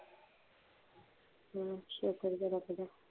ਸ਼ੁਕਰ ਹੈ ਰੱਬ ਦਾ